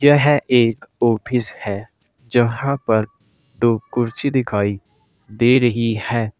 यह एक ऑफिस है। जहां पर दो कुर्सी दिखाई दे रही है।